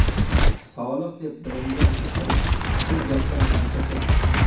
Solih deb bilingan kishi bu gapdan dahshatga tushdi.